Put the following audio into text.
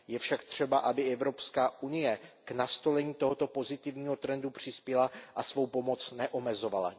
Je však třeba, aby Evropská unie k nastolení tohoto pozitivního trendu přispěla a svou pomoc neomezovala.